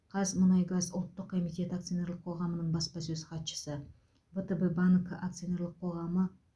қазмұнайгаз ұлттық комитеті акционерлік қоғамының баспасөз хатшысы втб банк акционерлік қоғамы